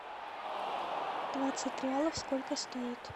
двадцать реалов сколько стоит